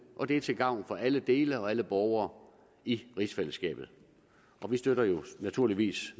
og det er til gavn for alle dele af og alle borgere i rigsfællesskabet vi støtter naturligvis